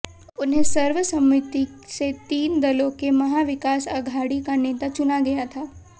उन्हें सर्वसम्मति से तीन दलों के महाविकास अघाड़ी का नेता चुना गया था